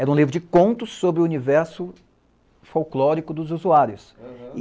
Era um livro de contos sobre o universo folclórico dos usuários. Aham